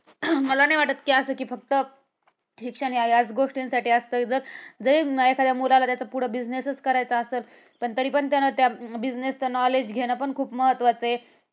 अं मला नाही वाटत कि फक्त शिक्षण हे याच गोष्टीसाठी असतं जर जर जे मुलाला पुढं business च करायचं असल पण तरी पण त्या business च knowledge घेणं पण खूप महत्वाच आहे.